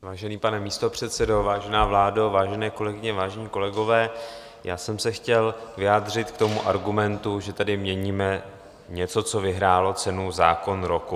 Vážený pane místopředsedo, vážená vládo, vážené kolegyně, vážení kolegové, já jsem se chtěl vyjádřit k tomu argumentu, že tady měníme něco, co vyhrálo cenu Zákon roku.